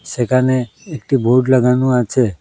সেখানে একটি বোর্ড লাগানো আছে।